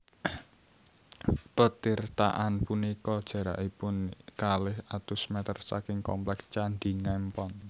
Petirtaan punika jarakipun kalih atus mèter saking komplèks Candhi Ngempon